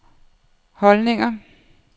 holdninger